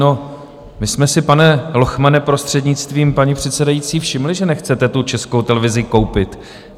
No, my jsme si, pane Lochmane, prostřednictvím paní předsedající, všimli, že nechcete tu Českou televizi koupit.